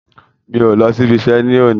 N kò lọ sí ibi iṣẹ́ ni òní